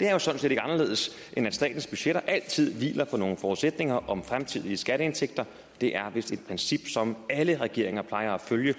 det er jo sådan set ikke anderledes end at statens budgetter altid hviler på nogle forudsætninger om fremtidige skatteindtægter det er vist et princip som alle regeringer plejer at følge